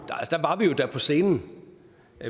på scenen